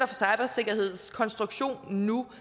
for cybersikkerheds konstruktion nu